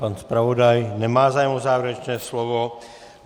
Pan zpravodaj nemá zájem o závěrečné slovo.